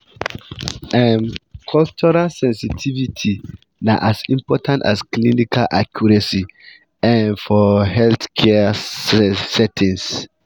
um um cultural sensitivity na as important as clinical accuracy um for healthcare settings.